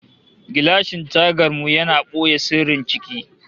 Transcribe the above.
Gilashin tagan mu yana da boye sirrin ciki